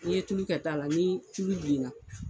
N'i ye tulu kɛ ta la, ni tulu bilenna.